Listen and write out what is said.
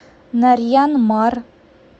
нарьян мар